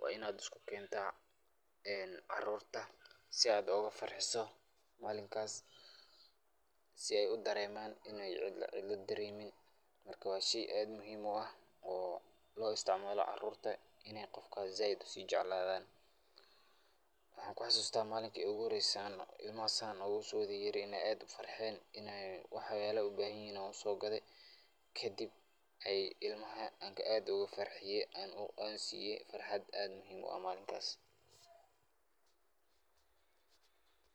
waa in ad iskukenta caarurta si ad oga farxiso malinkaas si ay udareeman in ay cidla dareemin, marka waa shey aad muhim u ah oo loo isticmaalo carurt in ay qofka zaaid usijecladaan. maxan kuxasuusta malinti igu horeyse oo ilman san oguso yaryihin in ad ufarxeen waxyala ay ubahan yihin ayan usoo grade, kadib an ilmaha aad oga farxiye an siye farxad aad muhim u ah malinkaas